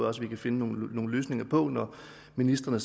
også vi kan finde nogle løsninger på når ministrene